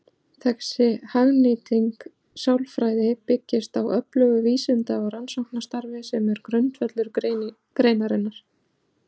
Þessi hagnýting sálfræði byggist á öflugu vísinda- og rannsóknarstarfi sem er grundvöllur greinarinnar.